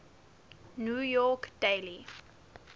new york daily